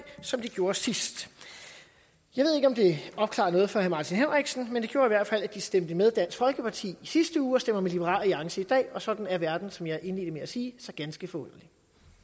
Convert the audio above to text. som de gjorde sidst jeg ved ikke om det opklarer noget for herre martin henriksen men det gjorde i hvert fald at de stemte med dansk folkeparti i sidste uge og stemmer med liberal alliance i dag og sådan er verden som jeg indledte med at sige så ganske forunderlig